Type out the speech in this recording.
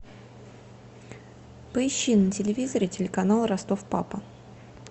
поищи на телевизоре телеканал ростов папа